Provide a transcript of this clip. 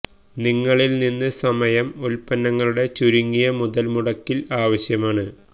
നിങ്ങളിൽ നിന്ന് സമയം ഉൽപ്പന്നങ്ങളുടെ ചുരുങ്ങിയ മുതൽ മുടക്കിൽ ആവശ്യമാണ്